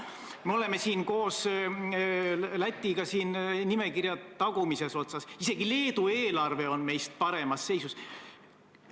Me oleme koos Lätiga nimekirja tagumises otsas, isegi Leedu eelarve on meie omast paremas seisus.